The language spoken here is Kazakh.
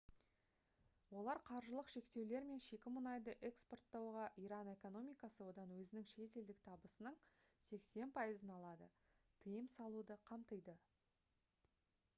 олар қаржылық шектеулер мен шикі мұнайды экспорттауға иран экономикасы одан өзінің шетелдік табысының 80% алады тыйым салуды қамтиды